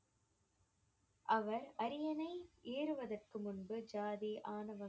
அவர் அரியணை ஏறுவதற்கு முன்பு ஜாதி, ஆணவம்